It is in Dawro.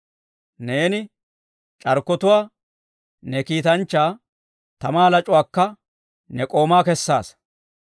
Neeni c'arkkotuwaa ne kiitanchchaa, tamaa lac'uwaakka ne k'ooma kessaasa.